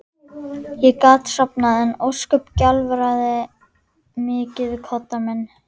Ég gat sofnað en ósköp gjálfraði mikið við koddann minn.